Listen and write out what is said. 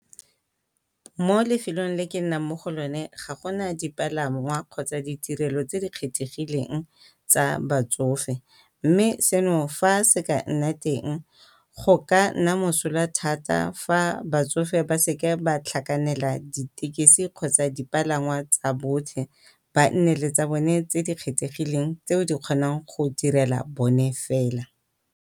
Mo lefelong le ke nnang mo go lone ga go na dipalangwa kgotsa ditirelo tse di kgethegileng tsa batsofe, mme seno fa se ka nna teng go ka nna mosola thata fa batsofe ba ka seke ba tlhakanela dithekesi kgotsa dipalangwa tsa botlhe. Ba nne le tsa bone tse di kgethegileng tse di kgonang go direla bone fela.